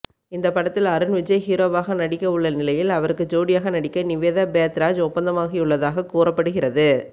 இந்த படத்தில் அருண்விஜய் ஹீரோவாக நடிக்கவுள்ள நிலையில் அவருக்கு ஜோடியாக நடிக்க நிவேதா பேத்ராஜ் ஒப்பந்தமாகியுள்ளதாக கூறப்படுகிறது